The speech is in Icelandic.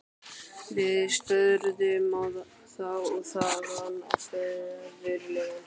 Við störðum á þá- og þaðan á föðurlegan svipinn.